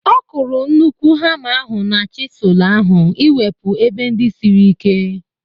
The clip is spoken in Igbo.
Ọ kụrụ nnukwu hama ahu na chisụl ahu iwepu ebe ndị siri ike